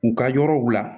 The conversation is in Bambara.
U ka yɔrɔw la